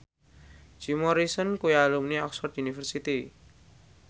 Jim Morrison kuwi alumni Oxford university